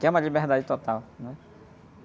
Que é uma liberdade total, né?